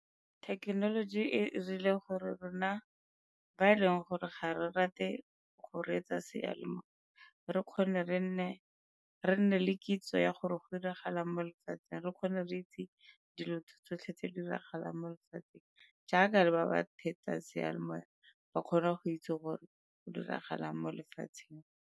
Thekenoloji e 'irile gore rona ba e leng gore ga re rate go reetsa seyalemoya re kgone re nne le kitso ya gore go 'iragalang mo lefatsheng re kgone re itse dilo tsotlhe tse di diragalang mo lefatsheng jaaka le ba ba theetsa seyalemoya ba kgone go itse gore go diragalang mo lefatsheng.